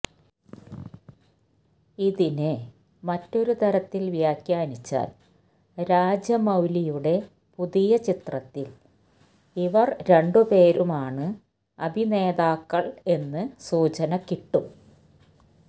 ഇതിനെ മറ്റൊരു തലത്തില് വ്യാഖ്യാനിച്ചാല് രാജമൌലിയുടെ പുതിയ ചിത്രത്തില് ഇവര് രണ്ടുപേരുമാണ് അഭിനേതാക്കള് എന്ന് സൂചന കിട്ടും